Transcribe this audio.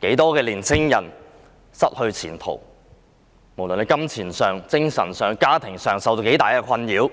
很多青年人失去前途，不論在金錢、精神和家庭上也受到很大困擾，